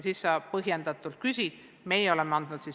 Siis on toetuse küsimine põhjendatud.